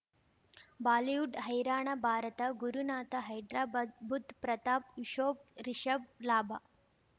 Bollywood ಹೈರಾಣ ಭಾರತ ಗುರುನಾಥ ಹೈದರಾಬಾದ್ ಬುಧ್ ಪ್ರತಾಪ್ ಯೂಶೋಫ್ ರಿಷಬ್ ಲಾಭ